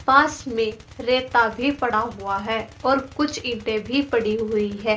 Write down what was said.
पास में रेता भी पड़ा हुआ है और कुछ इंटे भी पड़ी हुई है।